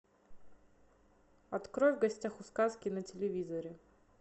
открой в гостях у сказки на телевизоре